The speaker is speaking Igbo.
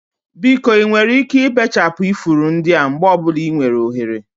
Biko ị nwere ike ibechapụ ifuru ndị a mgbe ọ bụla ị nwere ohere?